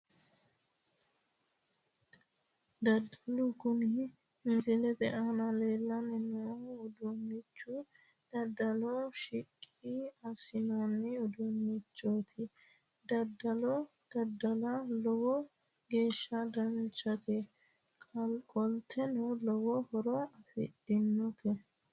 Daddalo kuni misilete aana leellanni noo udduunnichi daddaloho shiqqi assinoonni uduunnichooti daddalo daddala lowo geeshsha danchate qolteno lowo horo afidhinote